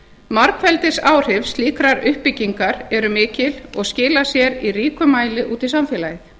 margfeldisáhrif slíkrar uppbyggingar eru mikil og skila sér í ríkum mæli út í samfélagið